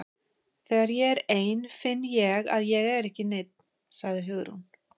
Þegar ég er ein finn ég að ég er ekki nein- sagði Hugrún.